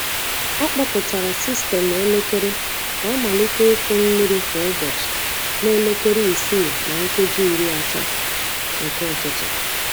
Ọ kpọpụtara sistemụ elekere ka ọ malite ịkụ mmiri kwa ụbọchị na elekere isii na nkeji iri atọ nke ụtụtụ.